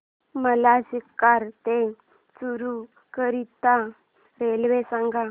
मला सीकर ते चुरु करीता रेल्वे सांगा